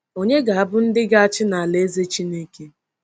Ònye ga-abụ ndị ga-achị n’Alaeze Chineke?